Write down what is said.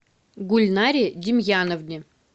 гульнаре демьяновне